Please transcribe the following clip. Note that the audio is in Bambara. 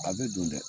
A bɛ don dɛ